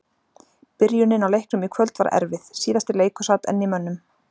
Byrjunin á leiknum í kvöld var erfið, síðasti leikur sat enn í mönnum.